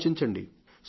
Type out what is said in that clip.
ఆలోచించండి